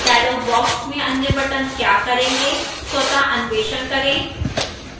dialog box में अन्य buttons क्या करेंगे स्वतः अन्वेषण करें